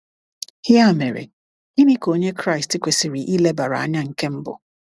Ya mere, gịnị ka onye Kraịst kwesịrị ilebara anya nke mbụ?